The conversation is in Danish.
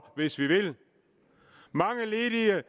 hvis vi vil mange ledige